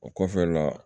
O kɔfɛ la